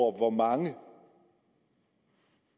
hvor mange